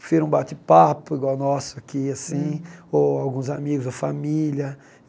Prefiro um bate-papo igual o nosso aqui, assim, ou alguns amigos, ou família.